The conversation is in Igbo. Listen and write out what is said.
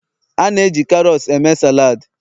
A na-eji karots eme saladi